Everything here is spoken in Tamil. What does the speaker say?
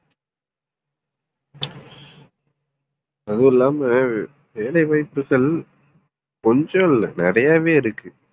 அதுவும் இல்லாம வேலை வாய்ப்புகள் கொஞ்சம் இல்லை நிறையவே இருக்கு.